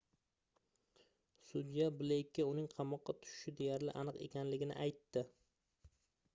sudya bleykka uning qamoqqa tushishi deyarli aniq ekanligini aytdi